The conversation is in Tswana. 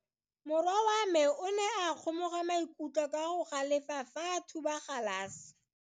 Morwa wa me o ne a kgomoga maikutlo ka go galefa fa a thuba galase.